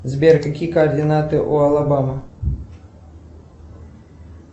сбер какие координаты у алабама